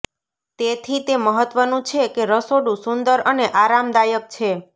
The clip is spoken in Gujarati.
તેથી તે મહત્વનું છે કે રસોડું સુંદર અને આરામદાયક છે